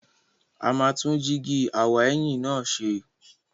A máa tún jíígi aw'ẹ̀yìn náà ṣe.